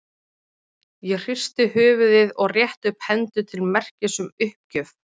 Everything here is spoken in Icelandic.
Ég hristi höfuðið og rétti upp hendur til merkis um uppgjöf.